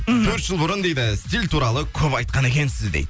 мхм төрт жыл бұрын дейді стиль туралы көп айтқан екенсіз дейді